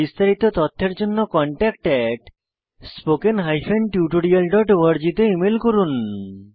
বিস্তারিত তথ্যের জন্য contactspoken tutorialorg তে ইমেল করুন